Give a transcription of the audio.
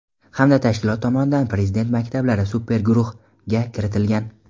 hamda tashkilot tomonidan Prezident maktablari "super guruh" ga kiritilgan.